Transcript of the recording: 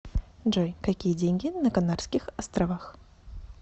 джой какие деньги на канарских островах